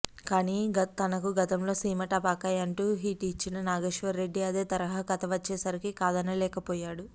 కానీ తనకు గతంలో సీమటపాకాయ్ అంటూ హిట్ ఇచ్చిన నాగేశ్వరరెడ్డి అదే తరహా కథ తెచ్చేసరికి కాదనలేకపోయాడు